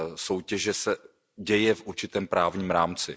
soutěže se děje v určitém právním rámci.